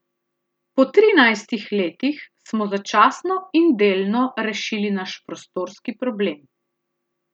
Po trinajstih letih smo začasno in delno rešili naš prostorski problem.